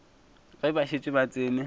ge ba šetše ba tsene